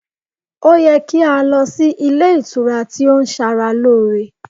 o ye ki a lo sí ilé ìtura ti o n Sara lore